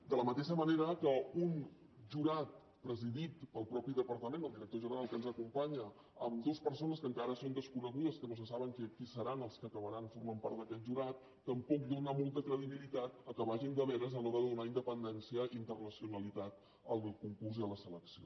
de la mateixa manera que un jurat presidit pel mateix departament el director general que ens acompanya amb dues persones que encara són desconegudes que no se sap qui seran els que acabaran formant part d’aquest jurat tampoc dóna molta credibilitat que vagin de veres a l’hora de donar independència i internacionalitat al concurs i a la selecció